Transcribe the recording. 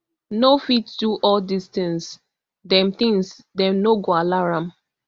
no fit do all dis tins dem tins dem no go allow am